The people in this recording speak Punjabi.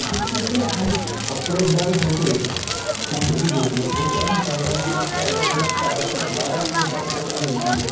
ਤਾਂ ਠੀਕ ਆ ਹੁਣ ਕੱਪੜੇ ਇੱਦਾਂ ਦੇ ਹੋਗੇ ਹੁਣ ਤੁਸੀਂ ਦੇਖਲੋ ਕੋਈ ਕਹਿ ਨੀ ਸਕਦਾ ਹੁਣ ਚਾਹੇ ਬੰਦਾ ਘਰ ਹੈ ਚਾਹੇ ਬਹਾਰ ਹੈ ਇੱਕੋ ਸਾਰ ਦੇ ਕੱਪੜਿਆਂ ਚ ਫਿਰੀ ਜਾਂਦਾ